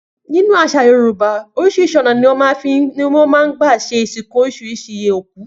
Nínú àṣà Yorùbá oríṣiríṣi ọ̀nà ni wọ́n máa ń gbà ṣe ìsìnkú oríṣiríṣi ikú.